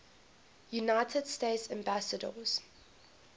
united states ambassadors